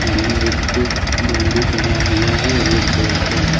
सामने एक बंडी टंगा हुआ है रेड कलर का।